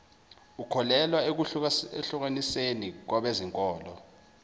ukholelwa ekuhlukaniseni kwabezenkolo